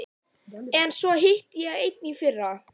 En svo hitti ég einn í fyrra.